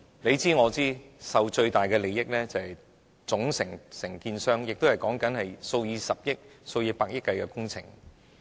大家也知道，獲益最大的是總承建商，因為涉及數以百億元計的工程。